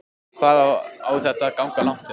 Hvað á þetta að ganga langt hjá þér?